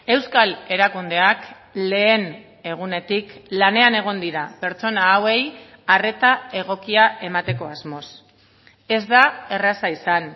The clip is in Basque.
euskal erakundeak lehen egunetik lanean egon dira pertsona hauei arreta egokia emateko asmoz ez da erraza izan